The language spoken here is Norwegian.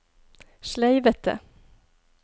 sleivete